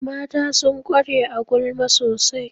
Mata sun ƙware a gulma sosai